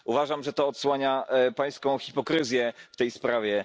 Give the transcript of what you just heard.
Uważam, że odsłania to Pańską hipokryzję w tej sprawie.